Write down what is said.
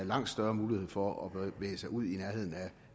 langt større mulighed for at bevæge sig ud i nærheden af